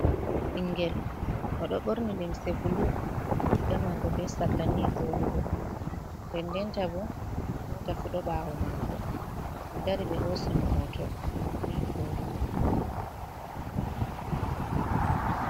Ɓingel o ɗo ɓorni limse bulu riga mako be sarla ni voɗugo nde denta bo mota fu ɗo ɓawo mako oɗo dari ɓe hosi mo hoto ni voɗugo.